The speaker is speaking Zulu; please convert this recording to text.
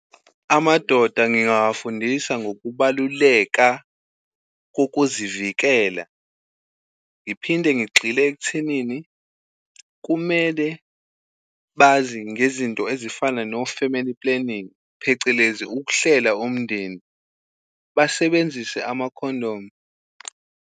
Amadoda ngingawafundisa ngokubaluleka kokuzivikela, ngiphinde ngigxile ekuthenini kumele bazi ngezinto ezifana no-family planning, phecelezi ukuhlela umndeni, basebenzise amakhondomu.